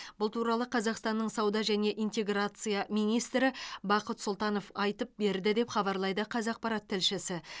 бұл туралы қазақстанның сауда және интеграция министрі бақыт сұлтанов айтып берді деп хабарлайды қазақпарат тілшісі